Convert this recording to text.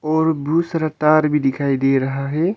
और बहुत सारा तार भी दिखाई दे रहा है।